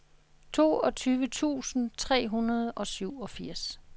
toogtyve tusind tre hundrede og syvogfirs